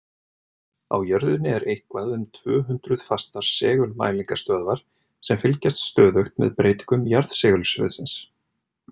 Á jörðinni eru eitthvað um tvö hundruð fastar segulmælingastöðvar sem fylgjast stöðugt með breytingum jarðsegulsviðsins.